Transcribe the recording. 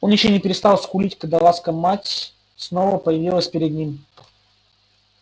он ещё не перестал скулить когда ласка мать снова появилась перед ним